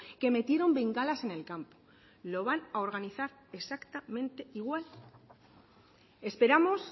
que metieron bengalas en el campo lo van a organizar exactamente igual esperamos